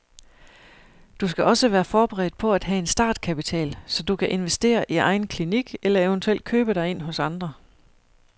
Du skal også være forberedt på at have en startkapital, så du kan investere i egen klinik eller eventuelt købe dig ind hos andre.